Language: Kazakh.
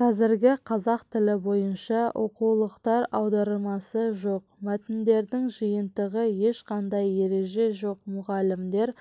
қазіргі қазақ тілі бойынша оқулықтар аудармасы жоқ мәтіндердің жиынтығы ешқандай ереже жоқ мұғалімдер